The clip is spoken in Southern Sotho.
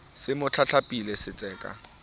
se mo tlatlapile se tseka